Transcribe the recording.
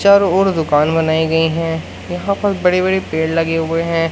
चारों ओर दुकान बनाई गई हैं यहां पर बड़े बड़े पेड़ लगे हुए हैं।